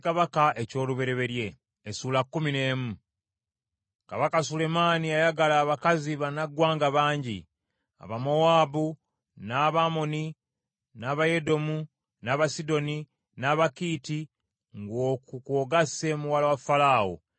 Kabaka Sulemaani yayagala abakazi bannaggwanga bangi: Abamowaabu, n’Abamoni, n’Abayedomu, n’Abasidoni, n’Abakiiti, ng’okwo kw’ogasse muwala wa Falaawo,